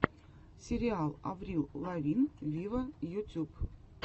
сериал аврил лавин виво ютуб